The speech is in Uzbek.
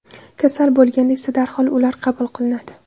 Kasal bo‘lganda esa darhol ular qabul qilinadi.